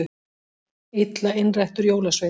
Illa innrættur jólasveinn